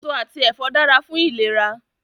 Èso àti ẹ̀fọ́ dára fún ìlera